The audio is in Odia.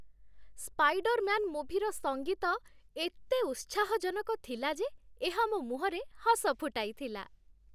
ସ୍ପାଇଡର୍ମ୍ୟାନ୍ ମୁଭିର ସଙ୍ଗୀତ ଏତେ ଉତ୍ସାହଜନକ ଥିଲା ଯେ ଏହା ମୋ ମୁହଁରେ ହସ ଫୁଟାଇଥିଲା